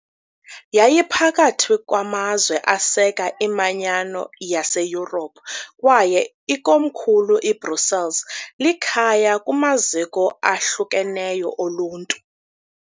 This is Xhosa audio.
Yayiphakathi kwamazwe aseka iManyano yaseYurophu kwaye ikomkhulu iBrussels likhaya kumaziko ahlukeneyo oluntu.